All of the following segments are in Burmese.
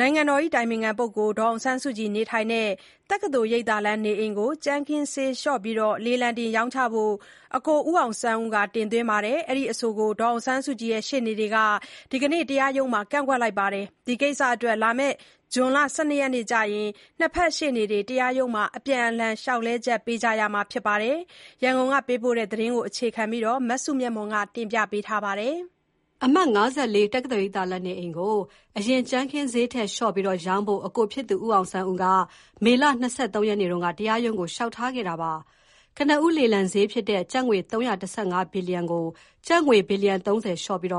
နိုင်ငံတော်အတိုင်ပင်ခံပုဂ္ဂိုလ် ဒေါ်အောင်ဆန်းစုကြည်နေထိုင်တဲ့ တက္ကသိုလ်ရိပ်သာလမ်းနေအိမ်ကို ကြမ်းခင်းဈေးလျှော့ပြီး လေလံတင်ရောင်းချဖို့ အကို ဦးအောင်ဆန်းဦး တင်သွင်းတဲ့အဆိုကို ဒေါ်အောင်ဆန်းစုကြည်ရှေ့နေတွေက ဒီကနေ့ တရား ရုံးမှာ ကန့်ကွက်လိုက်ပါတယ်။ ဒီကိစ္စအတွက် ဇွန်လ ၁၂ ရက်နေ့ကျရင် ၂ ဘက်ရှေ့နေတွေ တရားရုံးမှာ အပြန်အလှန် လျှောက်လဲချက်ပေးကြရမှာဖြစ်ပါတယ်။ ရန်ကုန်က ပေးပို့လာတဲ့သတင်းကို မစုမြတ်မွန်က ပြောပြပါမယ်။ အမှတ် ၅၄ တက္ကသိုလ်ရိပ်သာလမ်းနေအိမ်ကို အရင် ကြမ်းခင်းခင်းဈေးထက်လျှော့ပြီး ရောင်းဖို့ အကိုဖြစ်သူ ဦးအောင်ဆန်းဦးက မေလ ၂၃ ရက်နေ့က တရားရုံးကို လျှောက်ထားခဲ့တာပါ။ ကနဦး လေလံစျေးဖြစ်တဲ့ ကျပ်ငွေ ၃၁၅ ဘီလီယံကို ကျပ်ငွေ ဘီလီယံ ၃၀ လျှော့ပြီး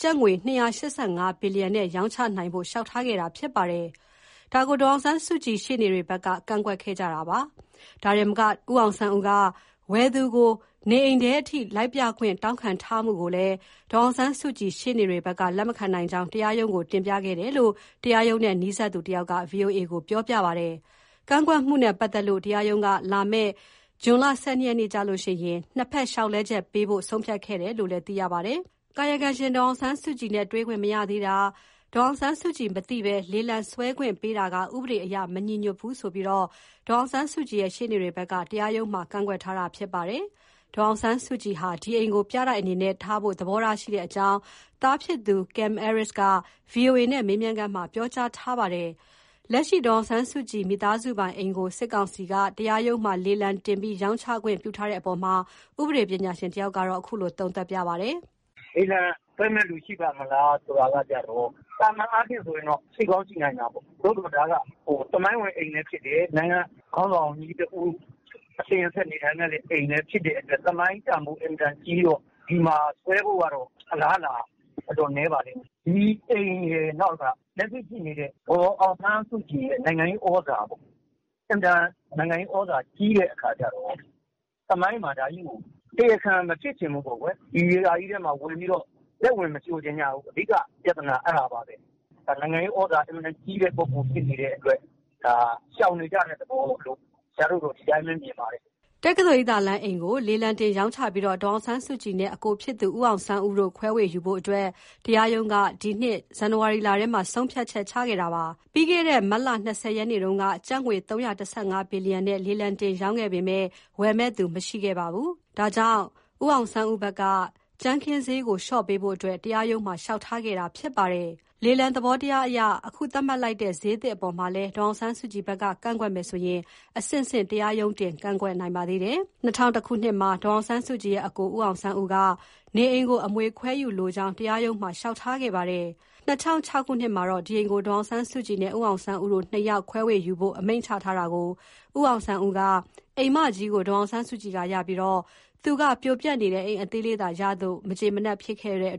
ကျပ်ငွေ ၂၈၅ဘီလီယံ နဲ့ရောင်းချနိုင်ဖို့ လျှောက်ထားခဲ့တာဖြစ်ပါတယ်။ ဒါကို ဒေါ်အောင်ဆန်းစုကြည်ရှေ့နေတွေဘက်က ကန့်ကွက်ခဲ့တာဖြစ်ပါတယ်။ ဒါတင်မက ဦးအောင်ဆန်းဦးက ဝယ်သူကို နေအိမ်ထဲ လိုက်ပြခွင့် တောင်းခံထားမှုကိုလည်း ဒေါ်အောင်ဆန်းစုကြည်ရှေ့နေတွေဘက်က လက်မခံနိုင်ကြောင်းတရားရုံးကို တင်ပြခဲ့တယ်လို့ တရားရုံးနဲ့နီးစပ်သူတဦးက ဗွီအိုအေကို ပြောပါတယ်။ ကန့်ကွက်မှုနဲ့ပတ်သတ်လို့ တရားရုံးက လာမယ့် ဇွန် ၁၂ ရက်နေ့မှာ ၂ ဖက်လျှောက်လဲချက်ပေးဖို့ ဆုံးဖြတ်ခဲ့တယ်လို့ ပြောပါတယ်။ ကာယကံရှင် ဒေါ်အောင်ဆန်းစုကြည်နဲ့ တွေ့ခွင့်မရသေးတာ၊ ကာယကံရှင် ဒေါ်အောင်ဆန်းစုကြည်မသိဘဲ လေလံစွဲခွင့်ပေးတာက ဥပဒေအရ မညီညွှတ်ဘူးဆိုပြီး ဒေါ်အောင်ဆန်းစုကြည်ရဲ့ ရှေ့နေတွေဘက်က တရားရုံးမှာ ကန့်ကွက်ထားတာဖြစ်ပါတယ်။ ဒေါ်အောင်ဆန်းစုကြည်ဟာ ဒီအိမ်ကို ပြတိုက်အနေနဲ့ထားဖို့သဘောရှိတဲ့အကြောင်း သားဖြစ်သူ ကင်မ်အဲရစ်က ဗွီအိုအေနဲ့ မေးမြန်းခန်းမှာ ပြောကြားထားတာပါ။ လက်ရှိ ဒေါ်အောင်ဆန်းစုကြည် မိသားစုပိုင်အိမ်ကို စစ်ကောင်စီ တရားရုံးမှာ လေလံတင်ပြီးရောင်းချခွင့်ပြုထားတဲ့အပေါ်မှာ ဥပဒေပညာရှင် တဦးက အခုလို သုံးသပ်ပါတယ်။ "လေလံဆွဲမယ့်သူရှိပါ့မလားဆိုတာကျတော့ သာမန်အားဖြင့်ဆိုရင်တော့ ရှိကောင်းရှိနိုင်တာပေါ့။ ဒါကသမိုင်းဝင်အိမ်လဲဖြစ်တယ်။ နိုင်ငံ ခေါင်းဆောင်တဦး အစဉ်အဆက်နေထိုင်ခဲ့တဲ့နေရာဆိုတော့ သမိုင်းတန်ဖိုးကြီးမားပါတယ်။ ဒီလို သမိုင်းတန်ဖိုးအင်မတန်ကြီးတော့ ဝယ်မယ့်ဆွဲ မယ့်သူ အင်မတန်နည်းပါလိမ့်မယ်။ ဒီအိမ်ရယ် လက်ရှိရှိနေတဲ့ ဒေါ်အောင်ဆန်းစုကြည်ရဲ့ နိုင်ငံရေးဩဇာ ပေါ့ အင်မတန်နိုင်ငံရေးဩဇာကြီး တော့ သမိုင်းမှာတရားခံမဖြစ်ချင်ဘူး။ ဒီဟာထဲဘယ်သူမှလက်ဝင်မရှိုချင်ကြဘူး အဓိကကအဲဒါပါဘဲ။ နိုင်ငံရေးဩဇာအင်မတန်ကြီးတဲ့သူဆို တော့ ရှောင်နေကြတာပေါ့ အဲဒါပါဘဲ။" တက္ကသိုလ်ရိပ်သာလမ်းအိမ်ကို လေလံတင်ရောင်းချပြီး ဒေါ်အောင်ဆန်းစုကြည်နဲ့ အကိုဖြစ်သူ ဦးအောင်ဆန်းဦးတို့ ခွဲဝေယူဖို့ တရားရုံးက ဒီနှစ် ဇန်နဝါရီလ ထဲမှာ ဆုံးဖြတ်ခဲ့တာပါ။ ပြီးခဲ့တဲ့ မတ်လ ၂၀ရက်နေ့က ကျပ်ငွေ ၃၁၅ ဘီလီယံနဲ့ လေလံတင်ရောင်းချခဲ့ပေမယ့် ဝယ် မယ့်သူမရှိခဲ့ပါဘူး။ ဒါကြောင့် ဦးအောင်ဆန်းဦးဘက်က စျေးကိုလျှော့ပြီး ကြမ်းခင်းဈေးကို လျှော့ပေးဖို့ တရားရုံးမှာ လျှောက်ထားခဲ့တာဖြစ်ပါတယ်။ လေလံသဘောတရားအရ အခုသတ်မှတ်လိုက်တဲ့ စျေးသစ်အပေါ်မှာလည်း ဒေါ်အောင်ဆန်းစုကြည်ဘက်က ကန့်ကွက်မယ်ဆိုရင် အဆင့်ဆင့် တရားရုံးတင် ကန့်ကွက်နိုင်ပါသေးတယ်။ ၂ဝဝ၁ ခုနှစ်မှာ ဒေါ်အောင်ဆန်းစုကြည်ရဲ့အစ်ကို ဦးအောင်ဆန်းဦးက နေအိမ်ကို အမွေခွဲဝေယူလိုကြောင်း တရားရုံးမှာ လျှောက် ထားခဲ့ပါတယ် ၂၀၀၆ ခုနှစ်မှာတော့ ဒီအိမ်ကို ဒေါ်အောင်ဆန်းစုကြည်နဲ့ ဦးအောင်ဆန်းဦးတို့ ၂ ယောက်ခွဲယူဖို့ အမိန့်ချထားတာကို ဦးအောင်ဆန်းဦးက အိမ်မကြီးကို ဒေါ်အောင်ဆန်းစုကြည်ကရပြီးသူက ပြိုပျက်နေတဲ့ အိမ်အသေးကိုသာရလို့ မကျေနပ်ဖြစ်ပြီး အိ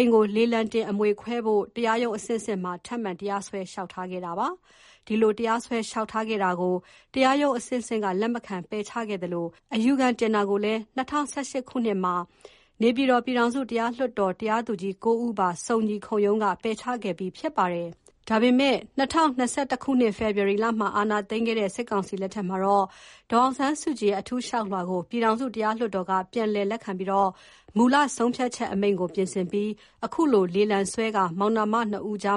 မ်ကိုလေလံ တင်ခွဲ ဖို့တရားရုံးအဆင့်ဆင့်မှာ ထပ်မံတရားစွဲ လျှောက်လဲခဲ့ပါတယ်။ ဒီလို တရားစွဲ လျှောက်ထားခဲ့တာကို တရားရုံး အဆင့်ဆင့်က လက်မခံ ပယ်ချခဲ့သလို အယူခံတင်တာကိုလည်း ၂ဝ၁၈ ခုနှစ်မှာ နေပြည်တော် ပြည်ထောင်စုတရားလွှတ်တော် တရားသူကြီး ၉ ဦးပါ စုံညီခုံရုံးကလည်း ပယ်ချခဲ့ပြီးဖြစ်ပါတယ်။ ဒါပေမဲ့ ၂၀၂၁ ခုနှစ် ဖေဖေါ်ဝါရီမှာ အာဏာသိမ်းခဲ့တဲ့ စစ်ကောင်စီလက်ထက်မှာ ဦးအောင်ဆန်းဦးရဲ့ အထူးလျှောက်လွှာကို ပြည်ထောင်စု တရားလွှတ်တော်က ပြန်လည်လက်ခံပြီး မူလ ဆုံးဖြတ်ချက်အမိန့်ကို ပြင်ဆင်ပြီးနောက် အခုလို လေလံဆွဲပြီး မောင်နှမ နှစ်ဦးကြား